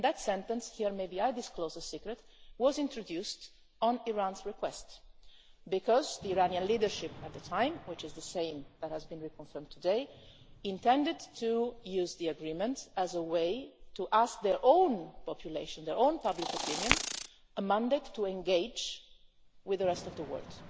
That sentence here maybe I disclose a secret was introduced at Iran's request, because the Iranian leadership at the time, which is the same that has been reconfirmed today, intended to use the agreement as a way to ask their own population, their own public opinion, for a mandate to engage with the rest of the world